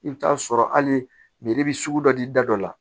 I bɛ taa sɔrɔ hali bi sugu dɔ di da dɔ la